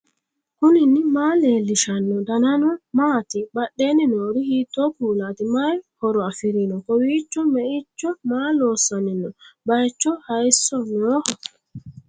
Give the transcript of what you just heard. knuni maa leellishanno ? danano maati ? badheenni noori hiitto kuulaati ? mayi horo afirino ? kowiicho me'icho maa loossanni no baycho hayso nooho